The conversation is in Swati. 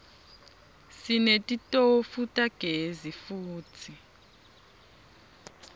sinetitofu tagezi futsi